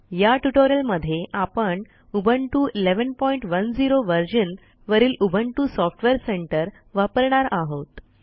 या ट्युटोरियलमध्ये आपण उबुंटू 1110 versionवरील उबुंटू सॉफ्टवेअर सेंटर वापरणार आहोत